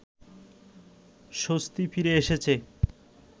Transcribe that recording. স্বস্তি ফিরে এসেছে